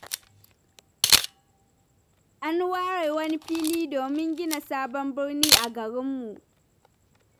An ware wani fili domin gina Sabon birni a garinmu.